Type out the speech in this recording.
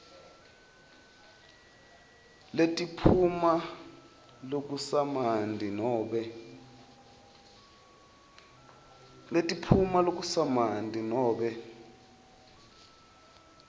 letiphuma lokusamanti nobe